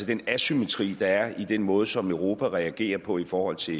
den asymmetri der er i den måde som europa reagerer på i forhold til